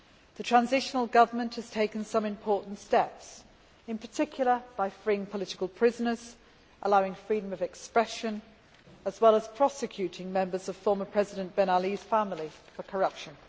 The transitional government has taken some important steps, in particular by freeing political prisoners and allowing freedom of expression, as well as prosecuting members of former President Ben Ali's family for corruption.